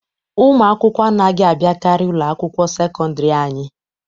Ụmụ akwụkwọ anaghị abiakari na ụlọ akwụkwọ sekọndiri anyị.